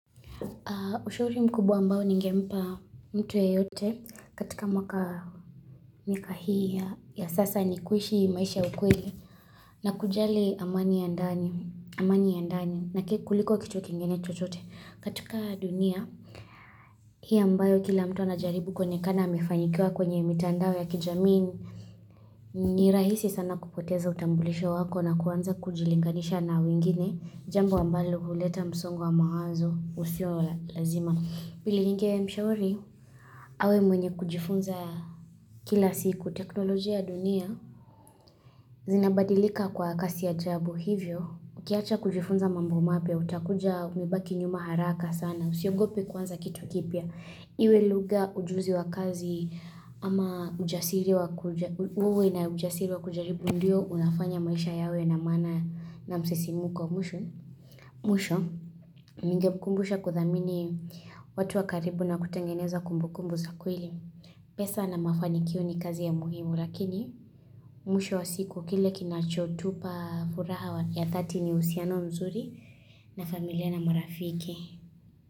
Ushauri mkubwa ambao ningempa mtu yeyote katika mwaka miaka hii ya sasa ni kuishi maisha ya ukweli na kujali amani ya ndani na ke kuliko kitu kingine chochote katika dunia hii ambayo kila mtu anajaribu kuonekana amefanikiwa kwenye mitandao ya kijamii ni rahisi sana kupoteza utambulisho wako na kuanza kujilinganisha na wingine jambo ambalo huleta msongwa wa mawazo usio wa lazima. Pili ninge mshauri, awe mwenye kujifunza kila siku teknolojia ya dunia, zinabadilika kwa kasi ya ajabu hivyo, ukiacha kujifunza mambo mapya, utakuja umebaki nyuma haraka sana, usiogope kwanza kitu kipya. Iwe luga ujuzi wa kazi ama ujasiri wa kuja uwe na ujasiri wa kujaribu ndio unafanya maisha yawe na maana na msisimko kwa mwisho. Mwisho, ningekumbusha kuthamini watu wakaribu na kutengeneza kumbukumbu za kweli. Pesa na mafanikio ni kazi ya muhimu lakini mwisho wa siku kile kinachotupa furaha ya dhati ni uhusiano mzuri na familia na marafiki.